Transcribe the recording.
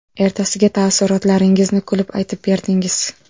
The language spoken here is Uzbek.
Ertasiga taassurotlaringizni kulib aytib berdingiz.